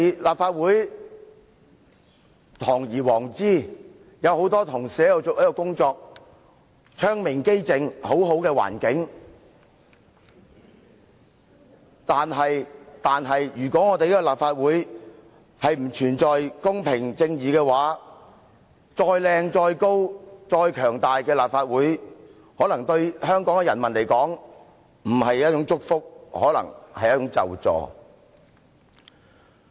立法會堂而皇之，有很多同事在這裏工作，窗明几淨，環境很好，但如果立法會不存在公平、正義，再美、再高、再強大的立法會，可能對香港市民來說並不是祝福，更可能是咒詛。